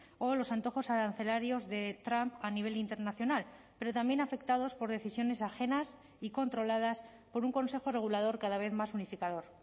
o los antojos arancelarios de trump a nivel internacional pero también afectados por decisiones ajenas y controladas por un consejo regulador cada vez más unificador